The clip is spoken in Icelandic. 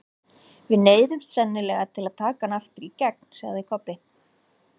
Við neyðumst sennilega til að taka hann aftur í gegn, sagði Kobbi.